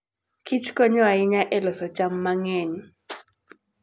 kichkonyo ahinya e loso cham mang'eny.